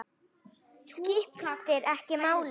Skiptir ekki máli!